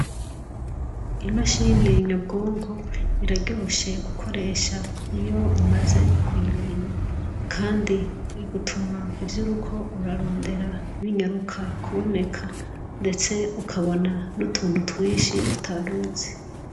Imashini nyabwonko iraryoshe gukoresha iyo umaze kuyimenya kandi igutuma ivyo uriko urarondera binyaruka kuboneka ndetse ukabona n'utuntu twishi utaruzi.